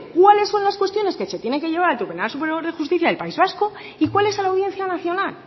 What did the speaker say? cuáles son las cuestiones que se tienen que llevar al tribunal superior de justicia del país vasco y cuáles a la audiencia nacional